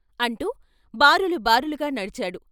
అంటూ బారులు బారులుగా నడిచాడు.